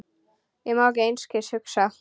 Ég má til einskis hugsa.